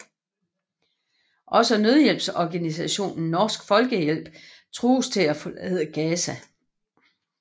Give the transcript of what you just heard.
Også nødhjælpsorganisationen Norsk Folkehjælp trues til at forlade Gaza